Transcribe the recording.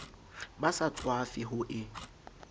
ba sa tswafe ho e